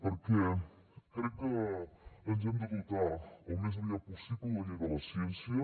perquè crec que ens hem de dotar al més aviat possible de la llei de la ciència